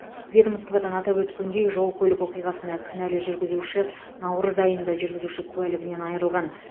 ведомстводан атап өткендей жол көлік оқиғасына кінәлі жүргізуші наурыз айында жүргізуші куәлігінен айырылған